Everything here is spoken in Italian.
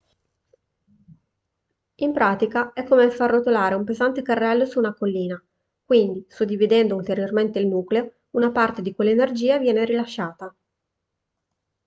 in pratica è come far rotolare un pesante carrello su una collina quindi suddividendo ulteriormente il nucleo una parte di quell'energia viene rilasciata